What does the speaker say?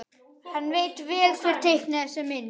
Hann veit vel hver teiknaði þessa mynd.